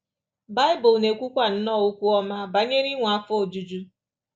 Baịbụl na-ekwukwa nnọọ okwu ọma banyere inwe afọ ojuju.